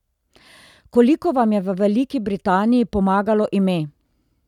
Koliko vam je v Veliki Britaniji pomagalo ime?